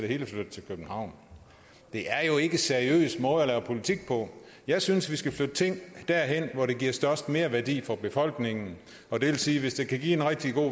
hele flyttet til københavn det er jo ikke en seriøs måde at lave politik på jeg synes vi skal flytte ting derhen hvor det giver størst merværdi for befolkningen og det vil sige at hvis det kan give en rigtig god